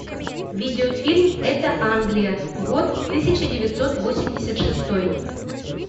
видеофильм это англия год тысяча девятьсот восемьдесят шестой